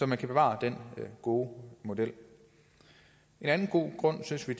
kan bevare den gode model en anden god grund synes vi